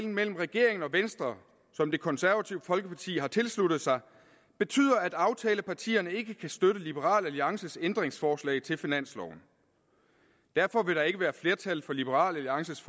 mellem regeringen og venstre som det konservative folkeparti har tilsluttet sig betyder at aftalepartierne ikke kan støtte liberal alliances ændringsforslag til finansloven derfor vil der ikke være flertal for liberal alliances